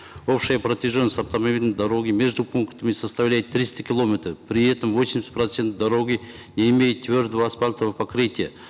общая протяженность автомобильной дороги между пунктами составляет триста километров при этом восемьдесят процентов дороги не имеет твердого асфальтового покрытия